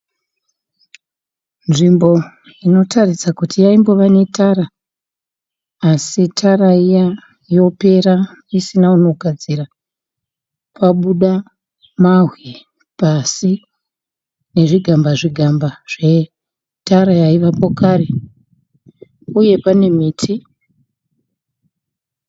Nzvimbo inotaridza kuti yaimbove netara asi tara iya yopera isina unogadzira. Pabuda mabwe pasi nezvigamba zvigamba zvetara yaivapo kare uye pane miti.